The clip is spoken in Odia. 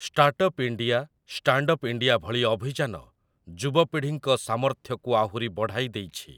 ଷ୍ଟାର୍ଟଅପ୍ ଇଣ୍ଡିଆ, ଷ୍ଟାଣ୍ଡଅପ୍ ଇଣ୍ଡିଆ ଭଳି ଅଭିଯାନ ଯୁବପିଢ଼ିଙ୍କ ସାମର୍ଥ୍ୟକୁ ଆହୁରି ବଢ଼ାଇ ଦେଇଛି ।